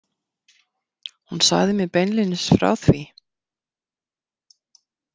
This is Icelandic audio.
Hún sagði mér beinlínis frá því.